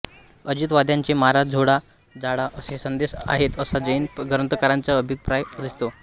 अजितवाद्यांचे मारा झोडा जाळा असे संदेश आहेत असा जैन ग्रंथकारांचा अभिप्राय दिसतो